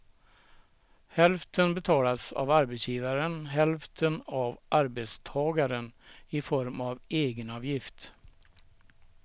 Hälften betalas av arbetsgivaren, hälften av arbetstagaren i form av egenavgift.